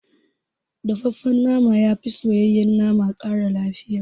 Dafaffen nama yafi soyayyen nama ƙara lafiya